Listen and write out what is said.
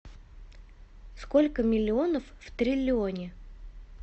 сколько миллионов в триллионе